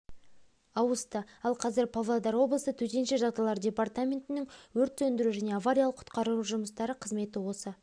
ауысты ал қазір павлодар облысы төтенше жағдайлар департаментінің өрт сөндіру және авариялық-құтқару жұмыстары қызметі осы